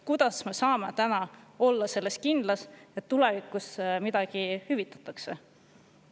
Kuidas me saame täna olla kindlad, et tulevikus midagi hüvitatakse?